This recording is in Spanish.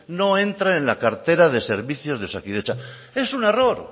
no entra en la cartera de servicios de osakidetza es un error